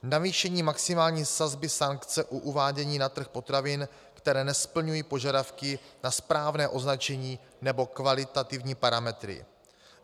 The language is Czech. Navýšení maximální sazby sankce u uvádění na trh potravin, které nesplňují požadavky na správné označení nebo kvalitativní parametry.